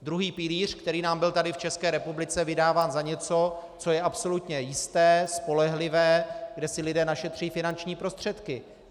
Druhý pilíř, který nám byl tady v České republice vydáván za něco, co je absolutně jisté, spolehlivé, kde si lidé našetří finanční prostředky.